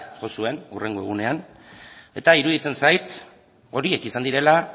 jo zuen hurrengo egunean eta iruditzen zait horiek izan direla